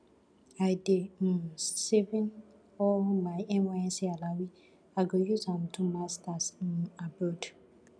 i dey um saving all my nysc alawee i go use am do masters um abroad